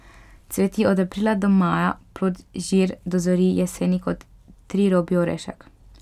Cveti od aprila do maja, plod žir dozori jeseni kot trirobi orešek.